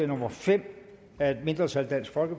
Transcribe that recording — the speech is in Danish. nummer fem af et mindretal